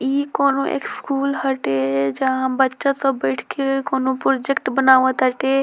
इ कोवनो स्कूल हटे जहाँ बच्चा सब बइठ के कोवनो प्रोजेक्ट बनावट टाटे।